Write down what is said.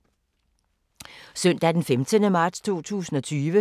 Søndag d. 15. marts 2020